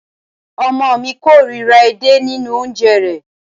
Ọmọ ọ̀ mi kóòríra edé nínu oúnjẹ rẹ̀